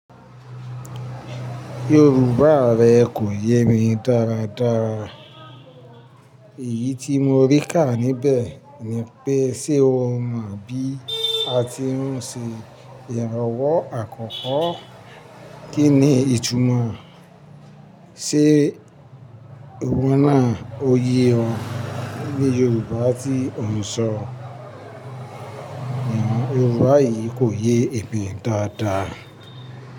Yorùbá rẹ kò yé mi dáradára. Èyí tí mo rí ká níbẹ̀ ni pé ṣe o mọ̀ bí a ti ń ṣe ìrànwọ́ àkọ́kọ́? Kí ni ìtumọ̀ ṣe ìwọ náà, òye òun ní Yorùbá tí ò ń sọ? Yorùbá yìí kò yé èmi dáa dáa.